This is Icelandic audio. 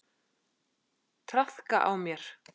Traðka á mér!